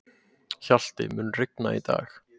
Hjalti, mun rigna í dag?